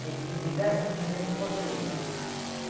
Tinha que pedir dez, vinte vezes para poder ir, né?